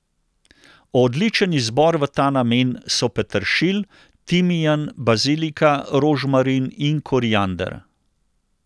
Odličen izbor v ta namen so peteršilj, timijan, bazilika, rožmarin in koriander.